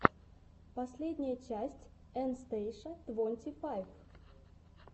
последняя часть эн стейша твонти файв